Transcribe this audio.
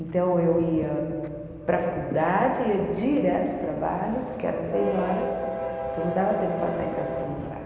Então eu ia para a faculdade, ia direto para o trabalho, porque eram seis horas, então não dava tempo de passar em casa para almoçar.